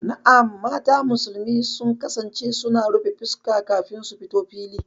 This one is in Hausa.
Na'am, mata musulmi sun kasance suna rufe fuska kafin su fito fili.